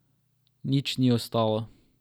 Nič ni ostalo.